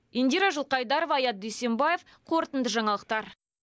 индира жылқайдарова аят дүйсенбаев қорытынды жаңалықтар